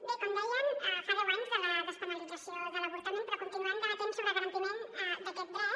bé com deien fa deu anys de la des·penalització de l’avortament però continuem debatent sobre el garantiment d’aquest dret